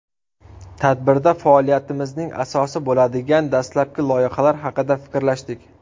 Tadbirda faoliyatimizning asosi bo‘ladigan dastlabki loyihalar haqida fikrlashdik.